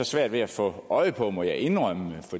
svært ved at få øje på må jeg indrømme